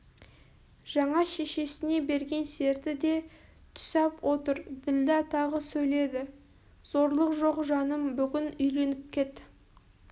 жаңа шешесіне берген серті де түсап отыр ділдә тағы сөйледі зорлық жоқ жаным бүгін үйленіп кет